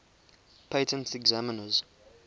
patent examiners